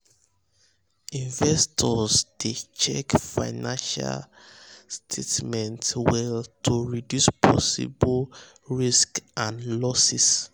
investors dey um check financial statements well to reduce possible risks and um losses